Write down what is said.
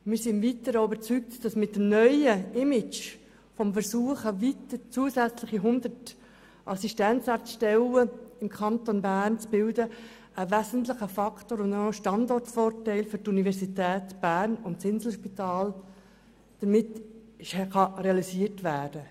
Wir sind im Weiteren auch überzeugt, dass mit dem neuen Image, dem Versuch, zusätzlich 100 Assistenzarzt-Stellen im Kanton Bern zu bilden, auch ein Standortvorteil für die Universität Bern und das Inselspital realisiert werden kann, was einen wesentlichen Faktor darstellt.